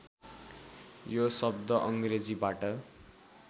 यो शब्द अङ्ग्रेजीबाट